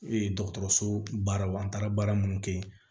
dɔgɔtɔrɔso baaraw an taara baara minnu kɛ yen